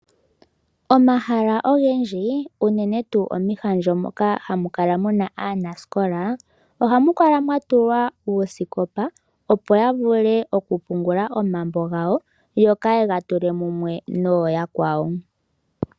Omahala ogendji, unene tuu omihandjo ndhoka hamu kala muna aanasikola ohamu kala mwa tulwa uusikopa opo ya vule okupungula omambo gawo yo kaaye ga tule mumwe nogo yakwawo.